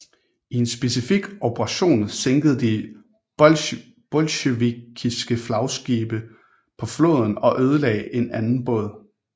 I en specifik operation sænkede de det bolsjevikiske flagskib på floden og ødelagde en anden båd